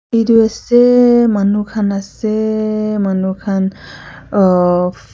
Etu ase manu khan ase manu khan ahh--